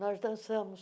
Nós dançamos.